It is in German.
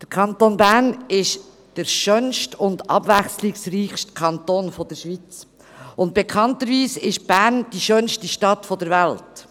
Der Kanton Bern ist der schönste und abwechslungsreichste Kanton der Schweiz, und bekanntlich ist Bern die schönste Stadt der Welt.